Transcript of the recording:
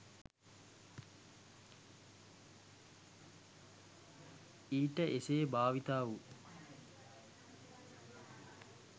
ඊට එසේ භාවිතා වූ